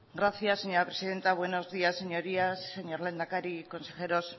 gracias señora presidenta buenos días señorías señor lehendakari consejeros